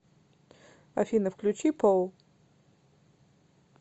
афина включи поу